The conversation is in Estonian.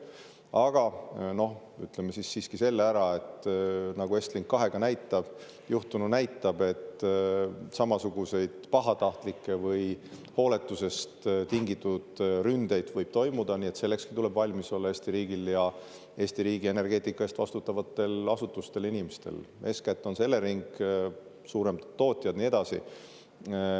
Aga ütleme siiski selle ära, et nagu Estlink 2-ga juhtunu näitab, võib samasuguseid pahatahtlikke või hooletusest tingitud ründeid toimuda, nii et sellekski tuleb valmis olla Eesti riigil ja Eesti riigi energeetika eest vastutavatel asutustel ja inimestel – eeskätt on see Elering, suuremad tootjad, ja nii edasi.